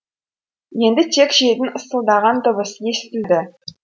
енді тек желдің ысылдаған дыбысы естілді